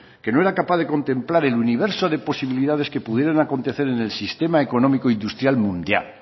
que no era capaz de contemplar el universo de posibilidades que pudieran acontecer en el sistema económico industrial mundial